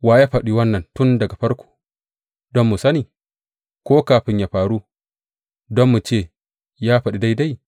Wa ya faɗi wannan tun daga farko, don mu sani, ko kafin ya faru, don mu ce, Ya faɗi daidai’?